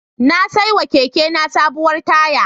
Na saiwa kekena sabuwar taya.